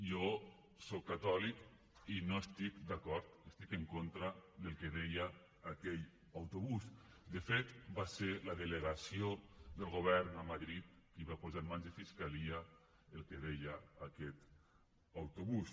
jo soc catòlic i no hi estic d’acord estic en contra del que deia aquell autobús de fet va ser la delegació del govern a madrid qui va posar en mans de fiscalia el que deia aquest autobús